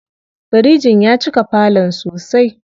Firijin ya cika falon sosai.